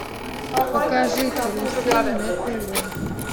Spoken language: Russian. покажи карусель на тв